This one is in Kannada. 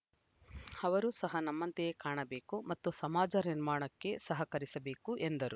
ಅವರು ಸಹ ನಮ್ಮಂತಯೇ ಕಾಣಬೇಕು ಮತ್ತು ಸಮಾಜ ನಿರ್ಮಾಣಕ್ಕೆ ಸಹಕರಿಸಬೇಕು ಎಂದರು